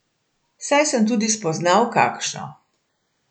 Saj sem tudi spoznal kakšno.